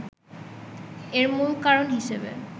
এর মূল কারণ হিসেবে